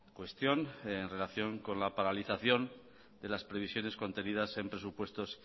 cuestión en relación con la paralización de las previsiones contenidas en presupuestos